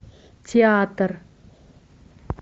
театр